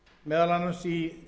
meðal annars í